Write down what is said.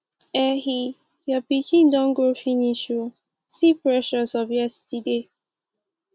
ehee your pikin don grow finish ooo see precious of yesterday